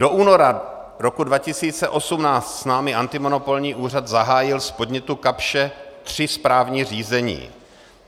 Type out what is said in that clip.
Do února roku 2018 s námi antimonopolní úřad zahájil z podnětu Kapsche tři správní řízení.